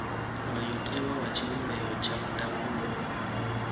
mulayotewa wa tshivhumbeo tsha ndangulo